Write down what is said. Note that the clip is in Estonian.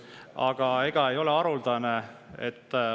Aga ega ei ole haruldane …